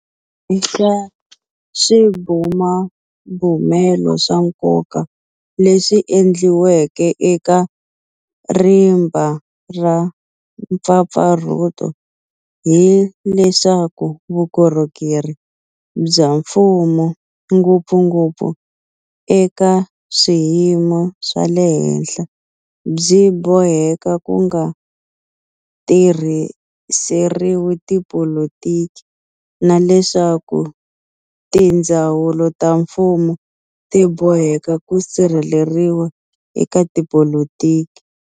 Xin'we xa swibumabumelo swa nkoka leswi endliweke eka rimba ra mpfapfarhuto hi leswaku vukorhokeri bya mfumo, ngopfungopfu eka swiyimo swa le henhla byi boheka ku nga tirhiseriwi tipolitiki na leswaku tindzawulo ta mfumo ti boheka ku sirheleriwa eka tipolitiki.